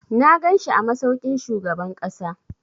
Na ganshi a masaukin shugaban ƙasa.